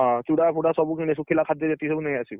ହଁ, ଚୂଡା ଫୁଡ଼ା ସବୁ ଶୁଖିଲା ଖାଦ୍ଯ ଯେତେକ ସବୁ ନେଇଆସିବୁ।